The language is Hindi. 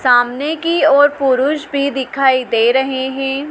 सामने की और पुरुष भी दिखाई दे रहे हैं।